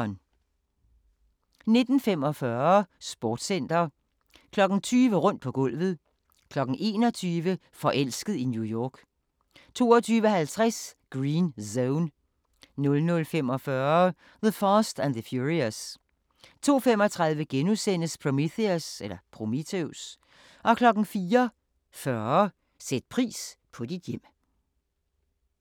19:45: Sportscenter 20:00: Rundt på gulvet 21:00: Forelsket i New York 22:50: Green Zone 00:45: The Fast and the Furious 02:35: Prometheus * 04:40: Sæt pris på dit hjem